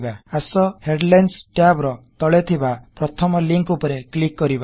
ଆସ headlines tab ର ତଳେ ଥିବା ପ୍ରଥମ ଲିକଂ ଉପରେ କ୍ଲିକ କରିବା